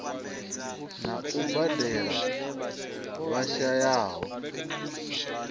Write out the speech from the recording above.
na u badela vha shayaho